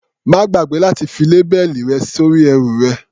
Má gbàgbé láti fi lábẹ́ẹ̀lì rẹ sórí ẹrù rẹ.